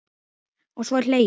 Og svo er hlegið.